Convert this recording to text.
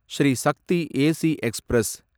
Sri Shakti AC express